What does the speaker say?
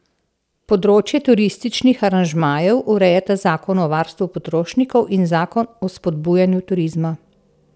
Področje turističnih aranžmajev urejata Zakon o varstvu potrošnikov in Zakon o spodbujanju turizma.